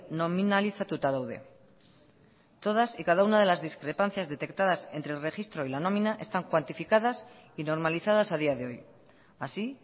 nominalizatuta daude todas y cada una de las discrepancias detectadas entre el registro y la nómina están cuantificadas y normalizadas a día de hoy así